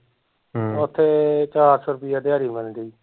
ਹਮ ਓਥੇ ਚਾਰ ਸੋ ਰੁੱਪਈਆ ਦਿਹਾੜੀ ਬਣਨ ਡਈ